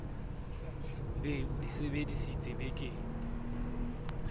be o di sebeditse bekeng